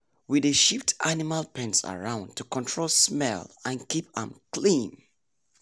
we dey shift animal pens around to control smell and keep am clean.